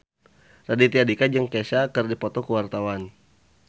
Raditya Dika jeung Kesha keur dipoto ku wartawan